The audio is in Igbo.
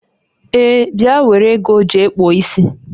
Ee, bịa nwere ego jee kpụọ isi